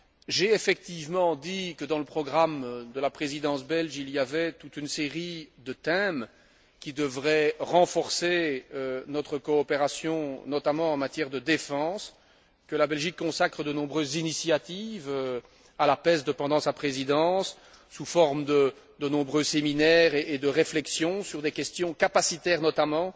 J'ai effectivement dit que, dans le programme de la Présidence belge, il y avait toute une série de thèmes qui devraient renforcer notre coopération notamment en matière de défense, que la Belgique consacrait de nombreuses initiatives à la PESD pendant sa Présidence, sous forme de nombreux séminaires et de réflexions sur des questions capacitaires notamment.